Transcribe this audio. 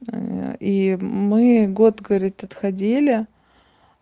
и мы год говорит отходили